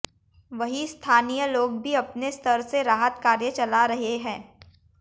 वहीं स्थानीय लोग भी अपने स्तर से राहत कार्य चला रहे हैं